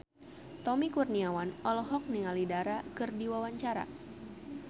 Tommy Kurniawan olohok ningali Dara keur diwawancara